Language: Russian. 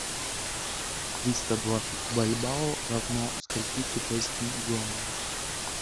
триста двадцать бальбоа равно скольки китайским юаням